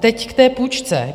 Teď k té půjčce.